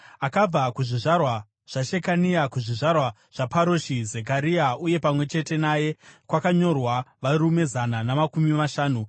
akabva kuzvizvarwa zvaShekania; kuzvizvarwa zvaParoshi, Zekaria, uye pamwe chete naye kwakanyorwa varume zana namakumi mashanu;